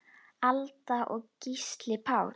Alda og Gísli Páll.